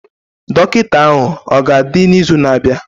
Dọkịta ahụ ọ ga-adị n'izu na-abịa?